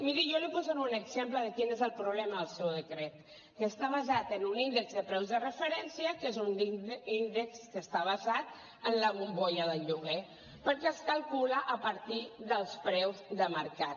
miri jo li posaré un exemple de quin és el problema del seu decret que està basat en un índex de preus de referència que és un índex que està basat en la bombolla del lloguer perquè es calcula a partir dels preus de mercat